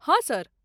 हँ सर।